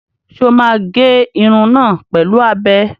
Ṣé o máa gé irun náà pẹ̀lú abẹ?